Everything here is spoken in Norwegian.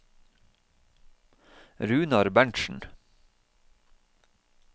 Runar Berntsen